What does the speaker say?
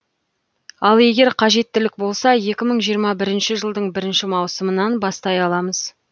ал егер қажеттілік болса екі мың жиырма бірінші жылдың бірінші маусымынан бастай аламыз